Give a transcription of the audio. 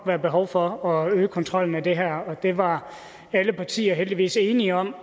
være behov for at øge kontrollen med det her og det var alle partier heldigvis enige om